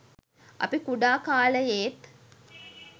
අපි කුඩා කාලයේත්